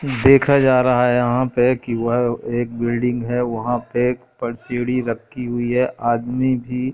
देखा जा रहा है यहां पे कि वह एक बिल्डिंग है वहां पे एक पर सीढ़ी रखी हुई है आदमी भी--